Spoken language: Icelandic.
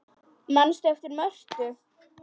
Manstu eftir Mörtu?